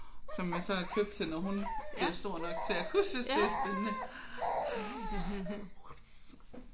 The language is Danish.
Som jeg så havde købt til når hun bliver stor nok til at kunne synes det er spændende